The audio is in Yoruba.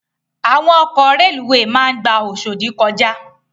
Àwón òkò rélúwé má n gbá Oshodi kòjá